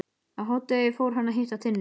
Á hádegi fór hann að hitta Tinnu.